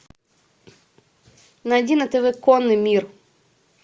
найди на тв конный мир